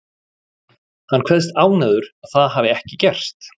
Hann kveðst ánægður að það hafi ekki gerst.